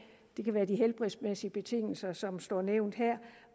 det kan være de helbredsmæssige betingelser som står nævnt her